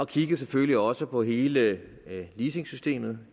kiggede selvfølgelig også på hele leasingsystemet